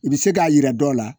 I bɛ se k'a yira dɔw la